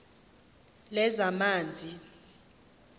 lezamanzi